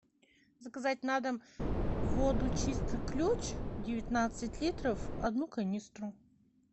заказать на дом воду чистый ключ девятнадцать литров одну канистру